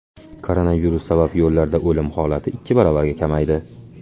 Koronavirus sabab yo‘llarda o‘lim holati ikki baravarga kamaydi.